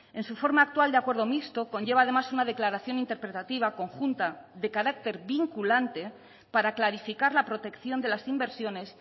en su forma actual de acuerdo mixto conlleva además una declaración interpretativa conjunta de carácter vinculante para clarificar la protección de las inversiones